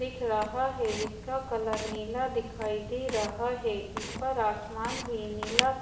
दिख रहा है जिसका कलर नीला दिखाई दे रहा है ऊपर आसमान भी नीला स--